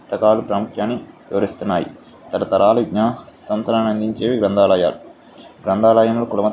పుస్తకాల ప్రాముఖ్యాన్ని వివరిస్తున్నాయి తరతరాల సంవత్సరాల విజ్ఞానం అందించేవి గ్రంధాలయాలు గ్రంధాలయంలో --